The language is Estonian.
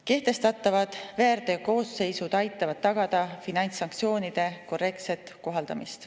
Kehtestatavad väärteokoosseisud aitavad tagada finantssanktsioonide korrektset kohaldamist.